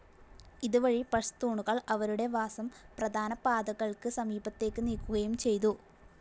ഇതുവഴി പഷ്തൂണുകൾ അവരുടെ വാസം പ്രധാന പാതകൾക്ക് സമീപത്തേക്ക് നീക്കുകയും ചെയ്തു.